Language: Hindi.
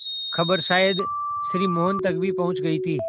खबर शायद श्री मोहन तक भी पहुँच गई थी